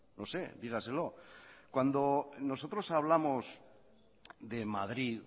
no sé dígaselo cuando nosotros hablamos de madrid